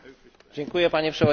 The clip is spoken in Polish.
Panie Przewodniczący!